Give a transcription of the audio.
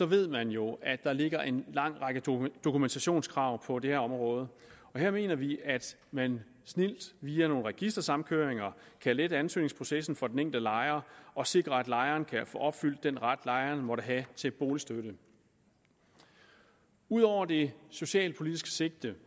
ved man jo at der ligger en lang række dokumentationskrav på det her område og her mener vi at man snildt via nogle registersamkøringer kan lette ansøgningsprocessen for den enkelte lejer og sikre at lejeren kan få opfyldt den ret lejeren måtte have til boligstøtte ud over det socialpolitiske sigte